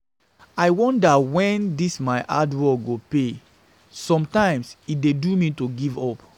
I wonder wen dis my hard work go pay, sometimes e dey do me to give up